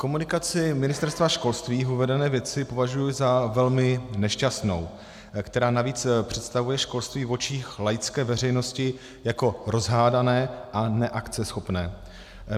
Komunikaci Ministerstva školství v uvedené věci považuji za velmi nešťastnou, která navíc představuje školství v očích laické veřejnosti jako rozhádané a neakceschopné.